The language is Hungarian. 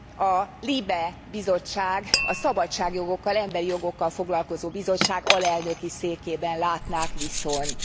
a LIBE bizottság, a szabadságjogokkal, emberi jogokkal foglalkozó bizottság alelnöki székében látnák viszont.